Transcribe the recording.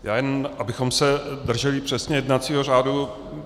Já jen abychom se drželi přesně jednacího řádu.